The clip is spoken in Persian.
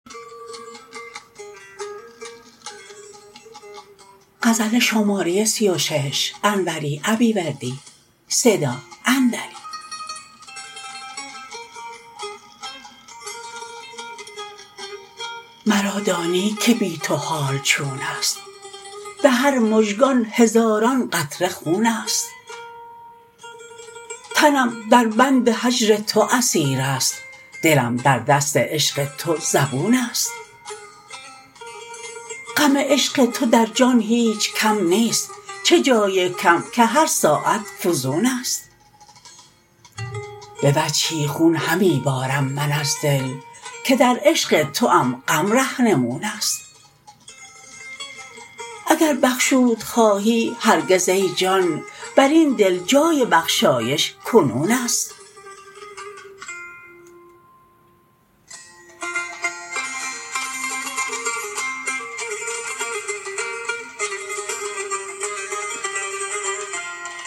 مرا دانی که بی تو حال چونست به هر مژگان هزاران قطره خونست تنم در بند هجر تو اسیرست دلم در دست عشق تو زبونست غم عشق تو در جان هیچ کم نیست چه جای کم که هر ساعت فزونست به وجهی خون همی بارم من از دل که در عشق توام غم رهنمونست اگر بخشود خواهی هرگز ای جان بر این دل جای بخشایش کنونست